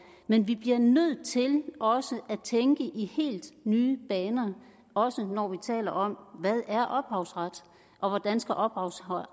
men vi bliver nødt til også at tænke i helt nye baner også når vi taler om hvad er ophavsret og hvordan skal ophavsret